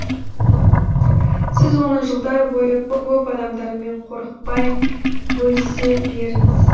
сіз оны жылдар бойы көп адамдармен қорықпай бөлісе беріңіз